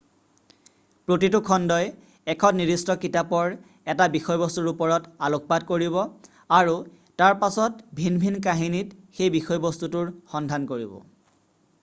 প্ৰতিটো খণ্ডই এখন নিৰ্দিষ্ট কিতাপৰ এটা বিষয়বস্তুৰ ওপৰত আলোকপাত কৰিব আৰু তাৰপাছত ভিন ভিন কাহিনীত সেই বিষয়বস্তুটোৰ সন্ধান কৰিব